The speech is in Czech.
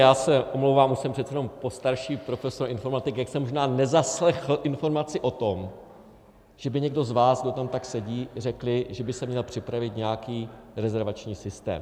Já se omlouvám, už jsem přece jenom postarší profesor informatiky, tak jsem možná nezaslechl informaci o tom, že by někdo z vás, kdo tam tak sedí, řekli, že by se měl připravit nějaký rezervační systém.